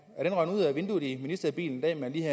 er den røget ud af vinduet i ministerbilen